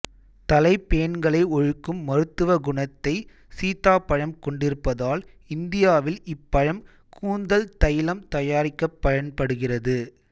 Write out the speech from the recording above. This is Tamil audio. தலைப்பேன்களை ஒழிக்கும் மருத்துவ குணத்தை சீதாப்பழம் கொண்டிருப்பதால் இந்தியாவில் இப்பழம் கூந்தல் தைலம் தயாரிக்கப் பயன்படுகிறது